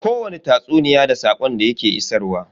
Kowani tatsuniya da saƙon da ya ke isarwa.